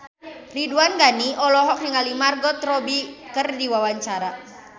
Ridwan Ghani olohok ningali Margot Robbie keur diwawancara